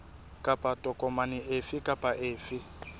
kapa tokomane efe kapa efe